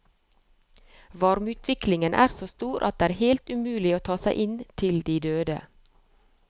Varmeutviklingen er så stor at det er helt umulig å ta seg inn til de døde.